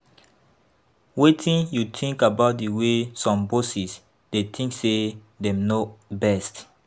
Wetin you think about di way some bosses dey think say dem know best?